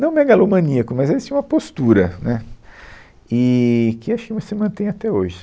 Não megalomaníaco, mas ele tinham uma postura, né, eee que acho que isso se mantém até hoje.